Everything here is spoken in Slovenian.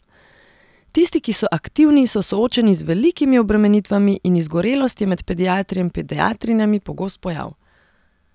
Tisti, ki so aktivni, so soočeni z velikimi obremenitvami in izgorelost je med pediatri in pediatrinjami pogost pojav.